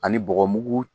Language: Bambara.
Ani bɔgɔmugu